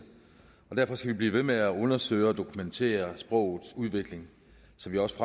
og derfor skal vi blive ved med at undersøge og dokumentere sprogets udvikling så vi også